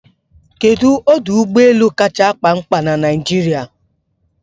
Kedu ọdụ ụgbọ elu kacha akpa ñkpa na Naịjirịa?